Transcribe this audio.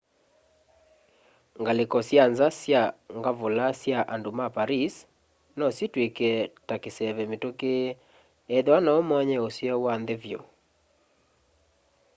ngalĩko sya nza sya ngavula sya andũ ma paris no sitwĩke ta kĩseve mĩtũkĩ ethĩwa no ũmony'e ũseo wa nthĩ vyũ